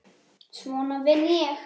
Svona vinn ég.